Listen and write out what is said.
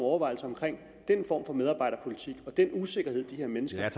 overvejelser om den form for medarbejderpolitik og den usikkerhed de her mennesker